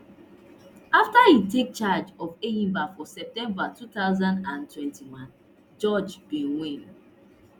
afta etake charge of enyimba for september two thousand and twenty-one george bin win